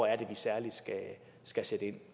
er vi særlig skal sætte ind